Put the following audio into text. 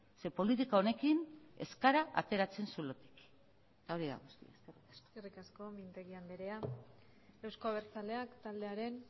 zeren politika honekin ez gara ateratzen zulotik eta hori da guztia eskerrik asko eskerrik asko mintegi andrea euzko abertzaleak taldearen